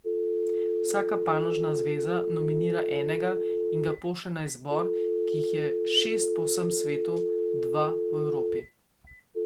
Vsaka panožna zveza nominira enega in ga pošlje na izbor, ki jih je šest po vsem svetu, dva v Evropi.